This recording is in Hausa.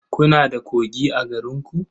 Kuna da kogi a garinku?